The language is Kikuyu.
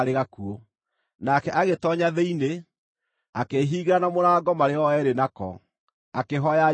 Nake agĩtoonya thĩinĩ, akĩĩhingĩra na mũrango marĩ o eerĩ nako, akĩhooya Jehova.